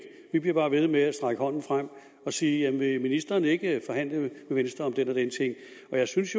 vi bliver bare ved med at strække hånden frem og sige vil ministeren ikke forhandle med venstre om den og den ting jeg synes